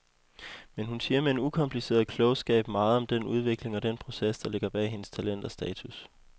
Men hun siger med en ukompliceret klogskab meget om den udvikling og den proces, der ligger bag hendes talent og status.